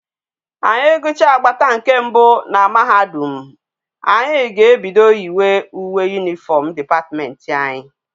Anyi gucha agbata nke mbe na mahadum, anyi ga ebido yi wa uwe uniform department anyi